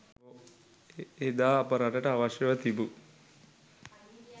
එදා අප රටට අවශ්‍යව තිබූ